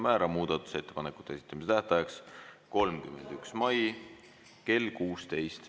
Määran muudatusettepanekute esitamise tähtajaks 31. mai kell 16.